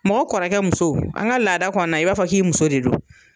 Mɔgɔ kɔrɔkɛ muso an ka laada kɔnina i b'a fɔ k'i muso de don